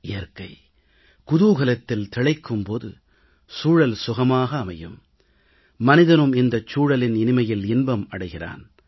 இயற்கை குதூகலத்தில் திளைக்கும் போது சூழல் சுகமாக அமையும் மனிதனும் இந்தச் சூழலின் இனிமையில் இன்பம் அடைகிறான்